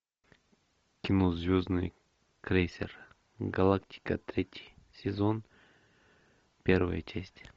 кино звездный крейсер галактика третий сезон первая часть